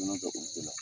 bɛ olu bɛɛ la